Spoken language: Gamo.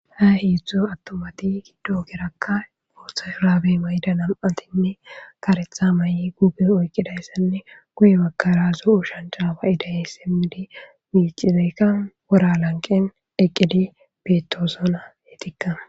Ha hiidzdzo attomati giddo gerakka gooththa suraabe mayida nam7atinne karetha may7i guube oykqidayssanne guye makarazo7u shancaba idayey simmidi miicizeykka wora lanqen eqqidi betosona hetikka.